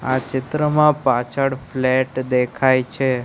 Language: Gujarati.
આ ચિત્રમાં પાછળ ફ્લેટ દેખાય છે.